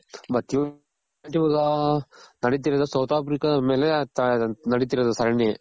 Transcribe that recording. ನೆಡಿತಿರೋದ್ south Africa ದ್ ಮೇಲೆ ನಡಿತಿರೋದು ಸರಣಿ.